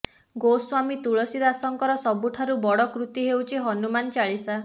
ଗୋସ୍ୱାମୀ ତୁଳସୀ ଦାସଙ୍କର ସବୁଠାରୁ ବଡ଼ କୃତି ହେଉଛି ହନୁମାନ ଚାଳିସା